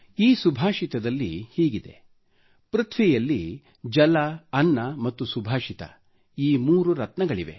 ಈ ಸುಭಾಷಿತದಲ್ಲಿ ಹೀಗಿದೆ ಪೃಥ್ವಿಯಲ್ಲಿ ಜಲ ಅನ್ನ ಮತ್ತು ಸುಭಾಷಿತ ಈ ಮೂರು ರತ್ನಗಳಿವೆ